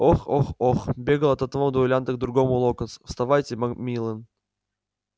ох ох ох бегал от одного дуэлянта к другому локонс вставайте макмиллан